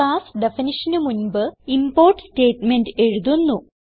class definitionന് മുൻപ് import statement എഴുതുന്നു